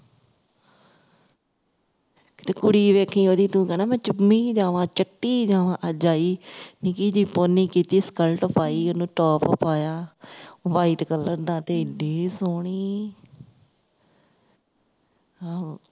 ਤੇ ਕੁੜੀ ਵੇਖੀ ਤੂੰ ਉਹਦੀ ਤੂੰ ਕਹਿਣਾ ਮੈਂ ਚੁੰਮੀ ਜਾਵਾਂ ਚਟੀ ਜਾਣਾ ਅਜ ਆਈ ਸੀ ਨਿੱਕੀ ਜਿਹੀ pony ਕੀਤੀ skit ਉਹਨੂੰ top ਪਾਇਆ white color ਦਾ ਤੇ ਇੰਨੀ ਸੋਹਣੀ ਆਹੋ